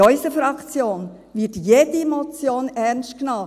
In unserer Fraktion wird jede Motion ernst genommen.